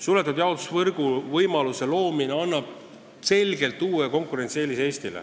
Suletud jaotusvõrgu võimaluse loomine annab Eestile selgelt uue konkurentsieelise.